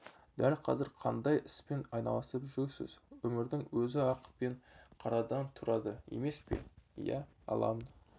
дәл қазір қандай іспен айналысып жүрсіз өмірдің өзі ақ пен қарадан тұрады емес пе иә аламын